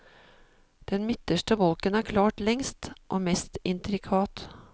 Den midterste bolken er klart lengst og mest intrikat.